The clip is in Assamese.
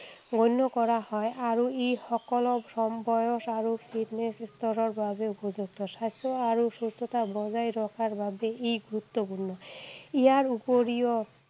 গণ্য কৰা হয় আৰু ই সকলো কম বয়স আৰু fitness স্তৰৰ বাবে উপযুক্ত । স্বাস্থ্য আৰু সুস্থতা বজাই ৰখাৰ বাবে ই গুৰুত্বপূৰ্ণ। ইয়াৰ উপৰিও